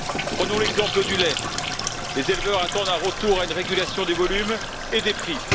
Prenons l'exemple du lait les éleveurs attendent un retour à une régulation des volumes et des prix.